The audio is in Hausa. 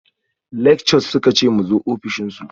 Lectures suka ce mu zo ofishin su